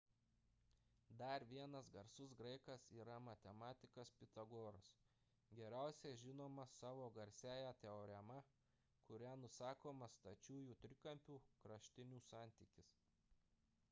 dar vienas garsus graikas yra matematikas pitagoras geriausiai žinomas savo garsiąja teorema kuria nusakomas stačiųjų trikampių kraštinių santykis